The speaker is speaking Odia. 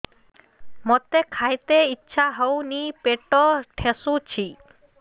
ମୋତେ ଖାଇତେ ଇଚ୍ଛା ହଉନି ପେଟ ଠେସୁଛି